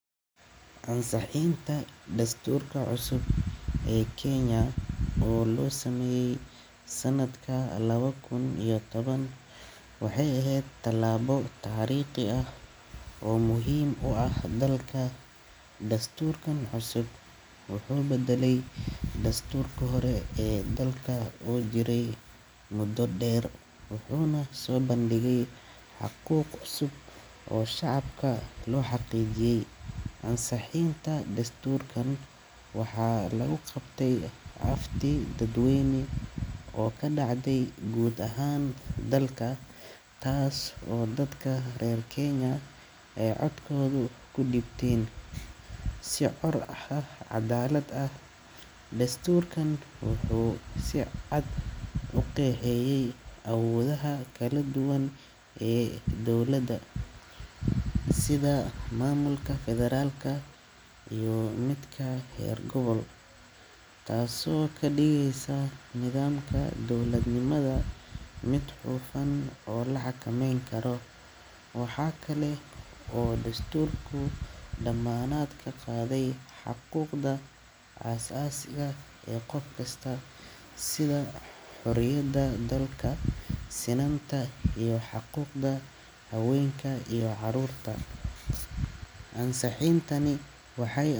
ansaxiinta dastuurka cusub ee kenya oo loo sameeyey sannadkan laba kun iyo toban waxay ahayd tallaabo taariikhi ah oo muhiim u ah dalka dastuurkan cusub wuxuu bedelay dastuurka hore ee dalka uu jiray muddo dheer wuxuuna soo bandhigay xuquuq cusub oo shacabka loo xaqiijiyay ansixinta dastuurkan waxaa lagu qabtay dadweyne oo ka dhacday guud ahaan dalka taas oo dadka reer kenya ee codkoodu ku dhibteen si cool ah cadalaad ah desturkan wuxuu si cad u qeexeeyay awoodaha kala duwan ee dowladda sida maamulka federaalk iyo miitka reer gobool taas oo ka dhageyso nidaamka dowladnimada mid hufan oo la xakameyn karo waxa kale oo dastuurku dhamaanaadka qaaday xaquuqda aasaasiga ee qof kasta sida xoriyada dalka sinan taa haweynad iyo carurta ansaxiinta ay.